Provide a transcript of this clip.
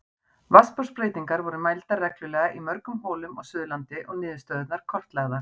Vatnsborðsbreytingar voru mældar reglulega í mörgum holum á Suðurlandi og niðurstöðurnar kortlagðar.